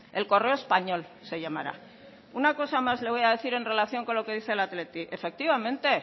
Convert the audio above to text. el correo español se llamará una cosa más le voy a decir en relación con lo que dice el athletic efectivamente